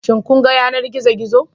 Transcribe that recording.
Shin kun ga yanar gizo-gizo.